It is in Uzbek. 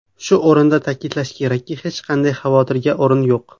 Shu o‘rinda ta’kidlash kerakki, hech qanday xavotirga o‘rin yo‘q.